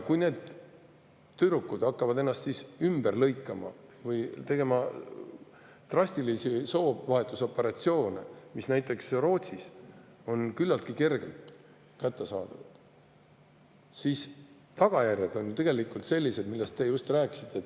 Kui need tüdrukud hakkavad ennast ümber lõikama või tegema drastilisi soovahetusoperatsioone, mis näiteks Rootsis on küllaltki kergelt kättesaadavad, siis tagajärjed on ju sellised, millest te just rääkisite.